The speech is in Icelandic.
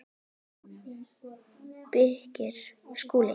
JÓN BEYKIR: Skúli?